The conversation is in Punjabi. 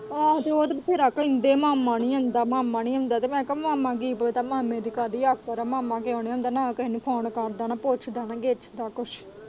ਆਹੋ ਉਹ ਤਾਂ ਬਥੇਰਾ ਕਹਿੰਦੇ ਮਾਮਾ ਨੀ ਆਉਂਦਾ ਮਾਮਾ ਨੀ ਆਉਂਦਾ ਤੇ ਮੈਂ ਕਿਹਾ ਕਿ ਪਤਾ ਮਾਮਾ ਚ ਕਾਹਦੀ ਆਕੜ ਏ ਮਾਮਾ ਕਿਉਂ ਨੀ ਆਉਂਦਾ ਨਾ ਕੇਹੇ ਨੂੰ ਫ਼ੋਨ ਕਰਦਾ ਨਾ ਪੁੱਛਦਾ ਨਾ ਗਿੱਛਦਾ ਕੁੱਛ।